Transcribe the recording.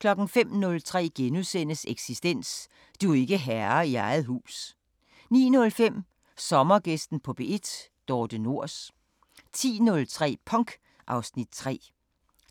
05:03: Eksistens: Du er ikke herre i eget hus * 09:05: Sommergæsten på P1: Dorthe Nors 10:03: Punk (Afs. 3)